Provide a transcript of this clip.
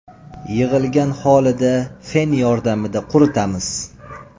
Yig‘ilgan holida fen yordamida quritamiz.